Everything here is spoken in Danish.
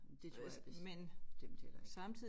Det tror jeg bestemt heller ikke